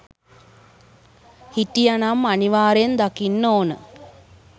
හිටිය නම් අනිවාර්යෙන් දකින්න ඕන